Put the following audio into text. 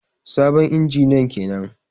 Sabon injiniyan kenan.